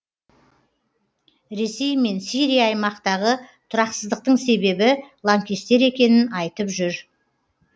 ресей мен сирия аймақтағы тұрақсыздықтың себебі лаңкестер екенін айтып жүр